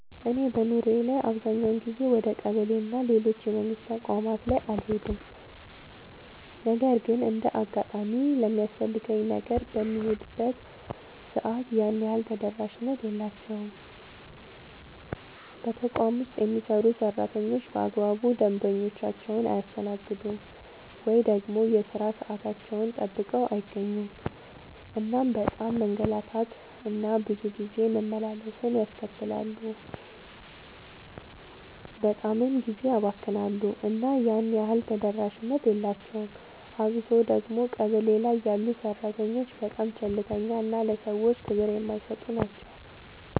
እኔ በኑሮዬ ላይ አብዛኛውን ጊዜ ወደ ቀበሌ እና ሌሎች የመንግስት ተቋማት ላይ አልሄድም ነገር ግን እንደ አጋጣሚ ለሚያስፈልገኝ ነገር በምሄድበት ሰዓት ያን ያህል ተደራሽነት የላቸውም። በተቋም ውስጥ የሚሰሩ ሰራተኞች በአግባቡ ደንበኞቻቸውን አያስተናግዱም። ወይ ደግሞ የሥራ ሰዓታቸውን ጠብቀው አይገኙም እናም በጣም መንገላታት እና ብዙ ጊዜ መመላለስን ያስከትላሉ በጣምም ጊዜ ያባክናሉ እና ያን ያህል ተደራሽነት የላቸውም። አብሶ ደግሞ ቀበሌ ላይ ያሉ ሰራተኞች በጣም ቸልተኛ እና ለሰዎች ክብር የማይሰጡ ናቸው።